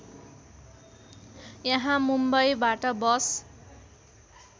यहाँ मुम्‍बईबाट बस